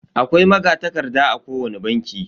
Akwai magatakarda a kowani banki.